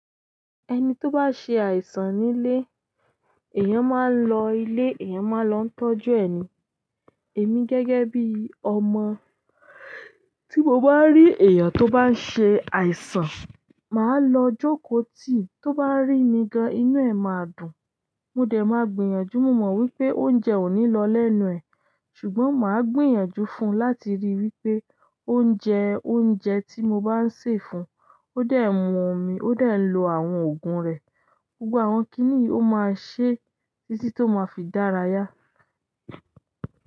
Ẹni tó bá ṣe àìsàn nílé, èèyàn máa lọ ilé, èèyàn máa lọ tọ́jú ẹni. Èmi gẹ́gẹ́ bí ọmọ, tí mo bá rí èèyàn tó bá ń ṣe àìsàn, màá lọ jókòó tì. Tó bá rí mi gan, inú ẹ̀ máa dùn. Mo dẹ̀ máa gbìyànjú. Mo mọ̀ wípé oúnjẹ ò ní lọ lẹ́nu ẹ̀, ṣùgbọ́n màá gbìyànjú fún un láti rí wípé ó ń jẹ oúnjẹ tí mo bá ń sè fún. Ó dè mu omi, ó de ń lo àwọn oògùn rẹ̀. Gbogbo àwọn kíní yìí máa ṣe títí tó máa fi dára yá.